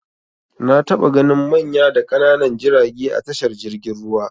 Na taɓa ganin manya da ƙananan jirage a tashar jirgin ruwa.